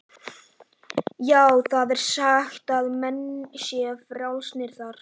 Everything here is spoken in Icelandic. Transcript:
Já, það er sagt að menn séu frjálsir þar.